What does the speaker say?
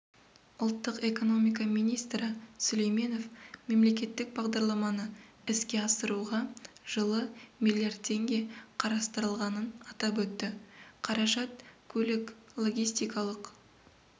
ұлттық экономика министрі сүлейменов мемлекеттік бағдарламаны іске асыруға жылы миллиард теңге қарастырылғанын атап өтті қаражат көлік-логистикалық